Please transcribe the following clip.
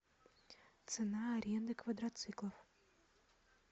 цена аренды квадроциклов